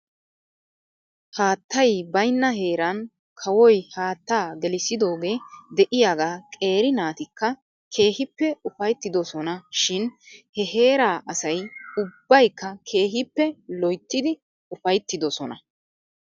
Haattay baynna heeran kawoy haattaa gelissidoogee de'iyaagaa qeeri naatikka keehippe ufayttidosona shin he heeraa asay ubabykka keehippe loyttidi ufayttidosona .